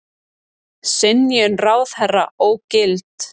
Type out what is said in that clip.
Synjun ráðherra ógilt